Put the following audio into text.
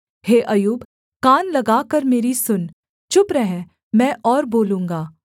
हे अय्यूब कान लगाकर मेरी सुन चुप रह मैं और बोलूँगा